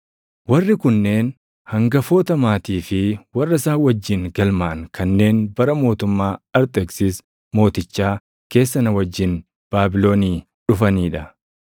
Warri kunneen hangafoota maatii fi warra isaan wajjin galmaaʼan kanneen bara mootummaa Arxeksis Mootichaa keessa na wajjin Baabilonii dhufanii dha: